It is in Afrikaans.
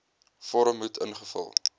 vorm moet ingevul